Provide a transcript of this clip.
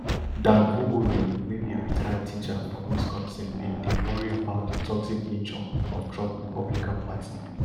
dan voboril wey be retired teacher from wisconsin bin dey worry about di toxic nature of trump republican party